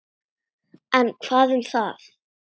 En hvað um það!